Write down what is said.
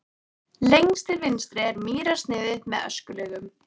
Lengst til vinstri er mýrarsniðið með öskulögum.